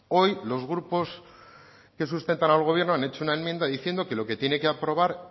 hoy los grupos que sustentan al gobierno han hecho una enmienda diciendo que lo que tiene que aprobar